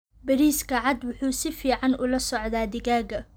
Bariiska cad wuxuu si fiican ula socdaa digaagga.